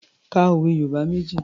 Ka òwe Yorùbá méjì.